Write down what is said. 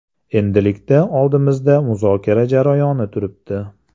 Endilikda oldimizda muzokara jarayoni turibdi.